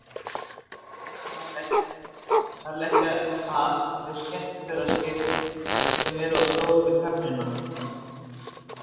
þar leggja líka að þau skemmtiferðaskip sem eru of stór fyrir gömlu höfnina